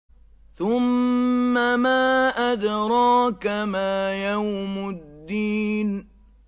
ثُمَّ مَا أَدْرَاكَ مَا يَوْمُ الدِّينِ